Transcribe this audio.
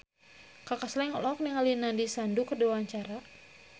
Kaka Slank olohok ningali Nandish Sandhu keur diwawancara